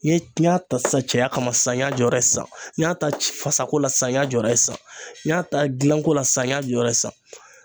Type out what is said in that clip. N ye n y'a ta sisan cɛya kama sisan n y'a jɔyɔrɔ ye sisan, n y'a ta fasako la sisan n y'a jɔ sisan ,n y'a ta gilanko la sisan n y'a jɔyɔrɔ ye sisan